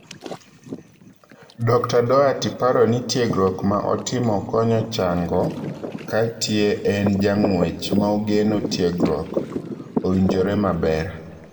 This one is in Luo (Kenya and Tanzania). Dokta Doherty paro ni tiegruok ma otimo konyo chango Katie en jang'wech maogeno tiegruok,o[uonjotre maber.